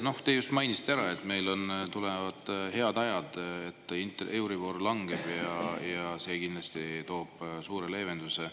Noh, te just mainisite ära, et meil tulevad head ajad, euribor langeb ja see kindlasti toob suure leevenduse.